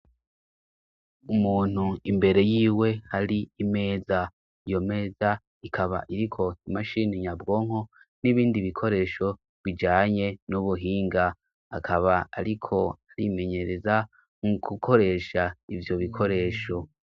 Umuntu imbere yiwe hari imeza iyo meza ikaba iriko imashini nyabwonko n'ibindi bikoresho bijanye n'ubuhinga akaba, ariko arimenyereza nku gukoresha ivyo bikoresho.